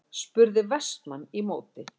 spurði Vestmann í móti.